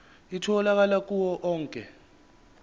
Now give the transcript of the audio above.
itholakala kuwo onke